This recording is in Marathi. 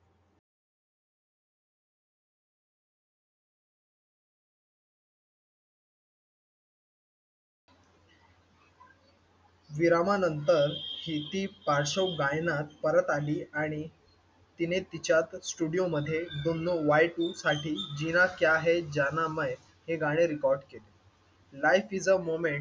विरामानंतर दीदी पार्श्वगायनात परत आली आणि तिने तिच्या स्टुडिओ मध्ये दुन्नो वाय टू साठी जीना क्या है जाना मैं, हे गाणे रेकॉर्ड केले. Night is the moment,